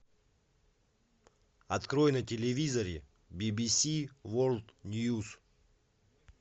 открой на телевизоре бибиси ворлд ньюс